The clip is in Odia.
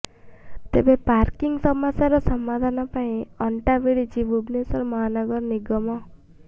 ତେବେ ପାର୍କିଂ ସମସ୍ୟାର ସମାଧାନ ପାଇଁ ଅଂଟା ଭିଡିଛି ଭୁବନେଶ୍ୱର ମହାନଗର ନିଗମ